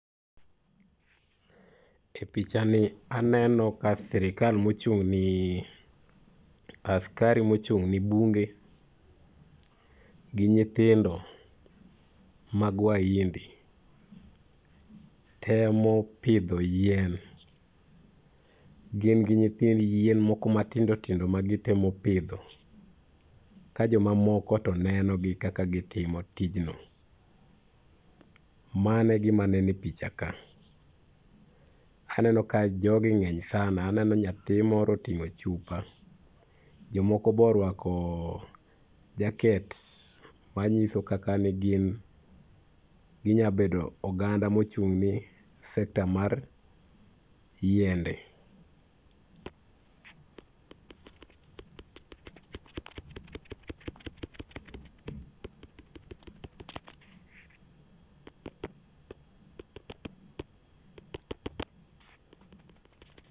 Pichani aneno ka sirikal mochung'ni ,askari mochung'ni bunge gi nyithindo mag waindi temo pidho yien. Gin gi nyithind yien moko matindo tindo magitemo pidho, ka joma moko to nenogi kaka gitimo tijno. Mano e gima neno e pichaka. Aneno ka jogi ng'eny sana, aneno nyathi moro oting'o chupa, jomoko be orwako jacket manyiso kaka ne gin, ginya bedo oganda mochung'ni sector mar yiende.